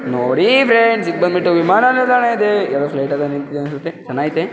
ನೋಡಿ ಫ್ರೆಂಡ್ಸ್ ಇದು ಬಂದ್ಬಿಟ್ಟು ವಿಮಾನ ನಿಲ್ದಾಣಯಿದೆ ಏನೋ ಪ್ಲೈಟ್ ಎಲ್ಲ ನಿಂತಿದೆ ಅನ್ಸುತ್ತೆ ಚೆನ್ನಾಐತೆ.